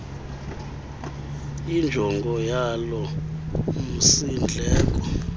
injongo yalo msindleko